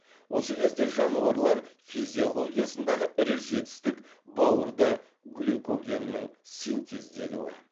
осы кезде жануарлар физиологиясындағы ірі жетістік бауырда глюкогеннің синтезделуі